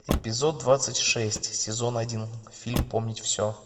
эпизод двадцать шесть сезон один фильм помнить все